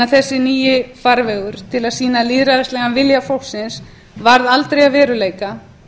en að þessi nýi farvegur til að sýna lýðræðislegan vilja fólksins varð aldrei að veruleika